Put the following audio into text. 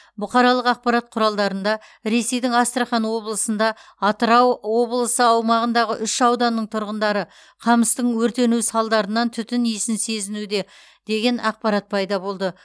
бұқаралық ақпарат құралдарында ресейдің астрахан облысында атырау облысы аумағындағы үш ауданның тұрғындары қамыстың өртенуі салдарынан түтін исін сезінуде деген ақпарат пайда болды